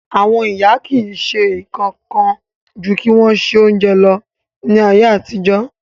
Àwon ìyá ki si sé kan kan ju kí won se ounje lo ni ayéàtijọ́